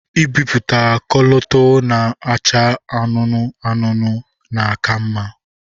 Ibiputa kọlọtọ na-acha anụnụ anụnụ na aka mma.